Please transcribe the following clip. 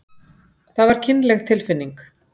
Það var kynleg tilfinning.